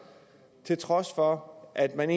til trods for at man